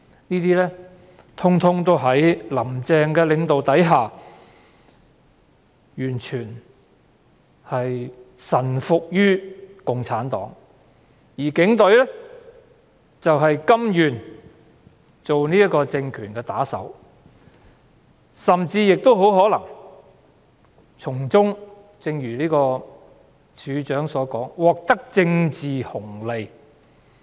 這些通通在"林鄭"的領導下，完全臣服於共產黨，而警隊則甘願作為政權的打手，甚至亦很可能從中——正如警務處處長早前所說——獲得政治紅利。